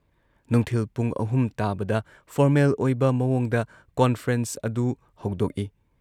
ꯅꯨꯡꯊꯤꯜ ꯄꯨꯡ ꯑꯍꯨꯝ ꯇꯥꯕꯗ ꯐꯣꯔꯃꯦꯜ ꯑꯣꯏꯕ ꯃꯑꯣꯡꯗ ꯀꯣꯟꯐ꯭ꯔꯦꯟꯁ ꯑꯗꯨ ꯍꯧꯗꯣꯛꯏ ꯫